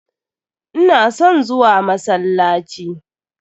Ina son zuwa masallaci.